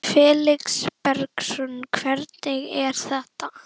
Felix Bergsson: Hvernig er þetta?